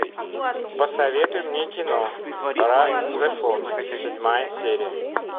посоветуй мне кино ра зефон седьмая серия